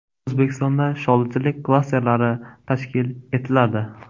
O‘zbekistonda sholichilik klasterlari tashkil etiladi.